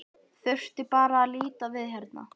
Þurfti bara að líta við hérna.